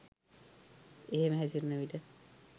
එහෙම හැසිරෙන විට